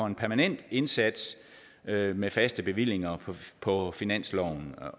en permanent indsats med med faste bevillinger på finansloven